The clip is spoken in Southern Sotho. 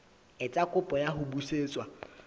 etsa kopo ya ho busetswa